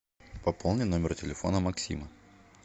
пополни номер телефона максима